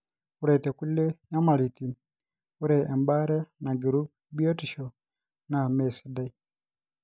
ore te kulie nyamalitin, ore ebaare nagiru biotisho naa mesidai